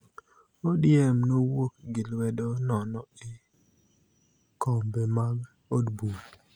ODM nowuok gi lwedo nono e kombe mag od bura